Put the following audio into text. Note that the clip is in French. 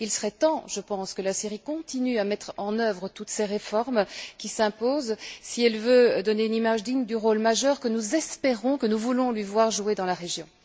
Il serait temps, je pense, que la Syrie continue à mettre en œuvre toutes ces réformes qui s'imposent si elle veut donner une image digne du rôle majeur que nous espérons, que nous voulons lui voir jouer dans la région.